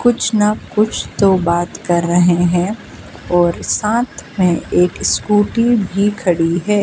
कुछ ना कुछ तो बात कर रहे हैं और साथ में एक स्कूटी भी खड़ी है।